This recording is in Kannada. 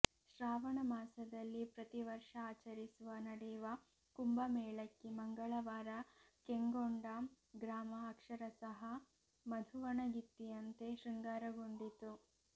ಶ್ರಾವಣ ಮಾಸದಲ್ಲಿ ಪ್ರತಿ ವರ್ಷಆಚರಿಸುವ ನಡೆಯುವ ಕುಂಬ ಮೇಳಕ್ಕೆ ಮಂಗಳವಾರ ಕೆಂಗೊಂಡಗ್ರಾಮಅಕ್ಷರಸಹಃ ಮಧುವಣಗಿತ್ತಿಯಂತೆ ಶೃಂಗಾರಗೊಂಡಿತ್ತು